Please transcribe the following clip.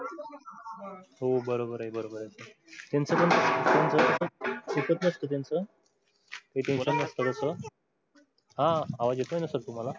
हो बरोबर आहे बरोबर आहे हा आवाज येतय ना सर तुम्हाला.